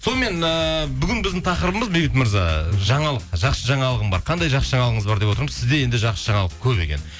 сонымен ыыы бүгін біздің тақырыбымыз бейбіт мырза жаңалық жақсы жаңалығым бар қандай жақсы жаңалығыңыз бар деп отырмыз сізде енді жақсы жаңалық көп екен